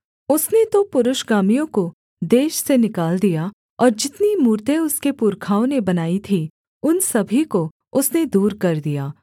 उसने तो पुरुषगामियों को देश से निकाल दिया और जितनी मूरतें उसके पुरखाओं ने बनाई थीं उन सभी को उसने दूर कर दिया